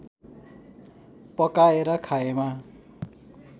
पकाएर खाएमा